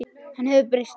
Hann hefur breyst.